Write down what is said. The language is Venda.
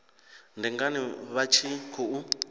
ndi ngani vha tshi khou